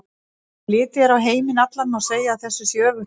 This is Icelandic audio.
Ef litið er á heiminn allan má segja að þessu sé öfugt farið.